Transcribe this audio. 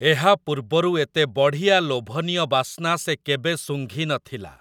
ଏହା ପୂର୍ବରୁ ଏତେ ବଢ଼ିଆ ଲୋଭନୀୟ ବାସ୍ନା ସେ କେବେ ଶୁଙ୍ଘି ନଥିଲା ।